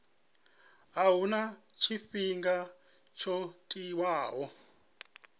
a huna tshifhinga tsho tiwaho